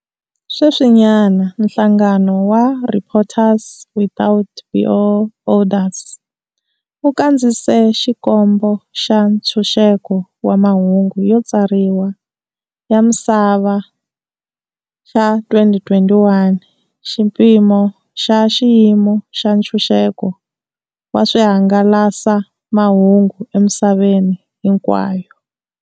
Sweswinyana, nhlangano wa Reporters without Borders wu kandziyise Xikombo xa Ntshunxeko wa Mahungu yo Tsariwa ya Misava xa 2021, xipimo xa xiyimo xa ntshunxeko wa swihangalasamahungu emisaveni hinkwayo.